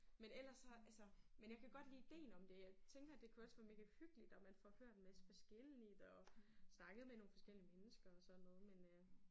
Men ellers så altså men jeg kan godt lide idéen om det. Jeg tænker det kunne også være megahyggeligt og man får hørt en masse forskelligt og snakket med nogle forskellige mennesker og sådan noget men øh